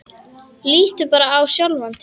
Líttu bara á sjálfan þig.